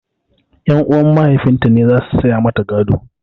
Ƴan uwan mahaifin ta ne zasu saya mata gado